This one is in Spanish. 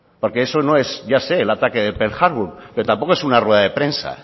porque eso no es ya se el ataque de pearl harbor pero tampoco es una rueda de prensa